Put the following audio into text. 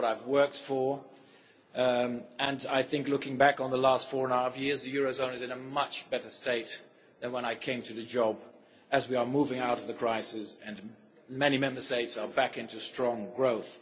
That is what I have worked for and I think, looking back on the last four and a half years, the eurozone is in a much better state than when I came to the job as we are moving out of the crisis and many Member States are back into strong growth.